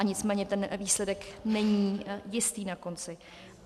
A nicméně ten výsledek není jistý na konci.